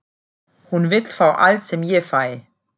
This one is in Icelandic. Hún vill fá allt sem ég fæ.